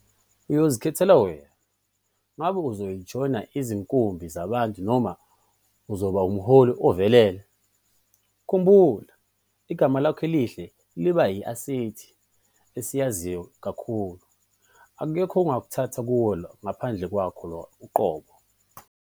Uyozikhethela wena - ngabe uzojoyina izinkumbi zabantu noma uzoba ngumholi ovelele? Khumbula- Igama lakho elihle liba yi-asethi esizayo kakhulu. Akekho ongakuthatha kuwe ngaphandle kwakho uqobo.